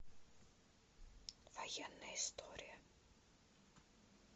военная история